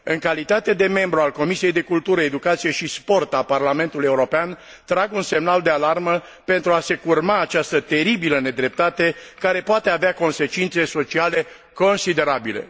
În calitate de membru al Comisiei pentru cultură și educație a Parlamentului European trag un semnal de alarmă pentru a se curma această teribilă nedreptate care poate avea consecințe sociale considerabile.